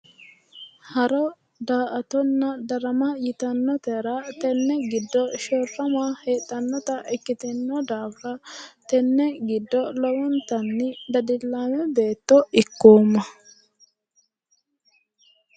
Haro da"atonna darama yitannotera tenne giddo shorrama heedhannota ikkitinno daafira tenne giddo lowontanni dadillaame beetto ikkoomma.